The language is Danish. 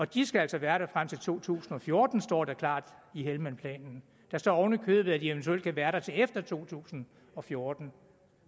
de skal altså være der frem til to tusind og fjorten står der klart i helmandplanen der står oven i købet at de eventuelt kan være der til efter to tusind og fjorten